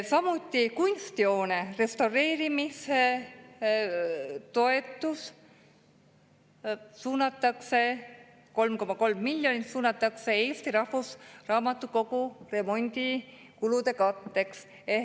Samuti kunstihoone restaureerimistoetus, 3,3 miljonit, suunatakse Eesti Rahvusraamatukogu remondikulude katteks.